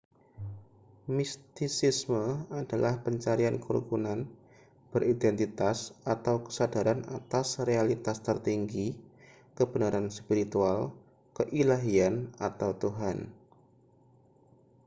mistisisme adalah pencarian kerukunan beridentitas atau kesadaran atas realitas tertinggi kebenaran spiritual keilahian atau tuhan